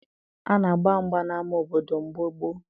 A na-agba mgba n'ama obodo mgbe gboo